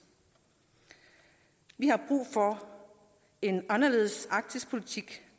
vi har brug for en anderledes arktisk politik